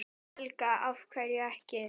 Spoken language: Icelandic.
Helga: Af hverju ekki?